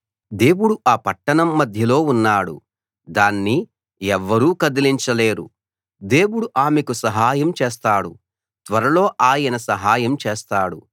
దేవుడు ఆ పట్టణం మధ్యలో ఉన్నాడు దాన్ని ఎవ్వరూ కదిలించలేరు దేవుడు ఆమెకు సహాయం చేస్తాడు త్వరలో ఆయన సహాయం చేస్తాడు